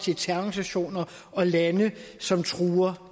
til terrororganisationer og lande som truer